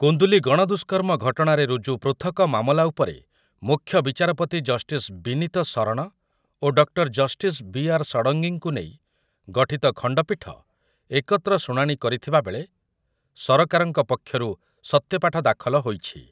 କୁନ୍ଦୁଲି ଗଣଦୁଷ୍କର୍ମ ଘଟଣାରେ ରୁଜୁ ପୃଥକ ମାମଲା ଉପରେ ମୁଖ୍ୟ ବିଚାରପତି ଜଷ୍ଟିସ ବିନୀତ ଶରଣ ଓ ଡକ୍ଟର ଜଷ୍ଟିସ ବି ଆର ଷଡ଼ଙ୍ଗୀଙ୍କୁ ନେଇ ଗଠିତ ଖଣ୍ଡପୀଠ ଏକତ୍ର ଶୁଣାଣି କରିଥିବାବେଳେ ସରକାରଙ୍କ ପକ୍ଷରୁ ସତ୍ୟପାଠ ଦାଖଲ ହୋଇଛି।